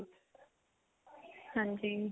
ਹਾਂਜੀ